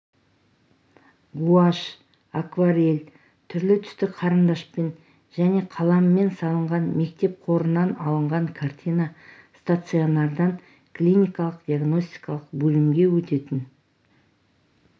гуашь акварель түрлі түсті қарындашпен және қаламмен салынған мектеп қорынан алынған картина стационардан клиникалық-диагностикалық бөлімге өтетін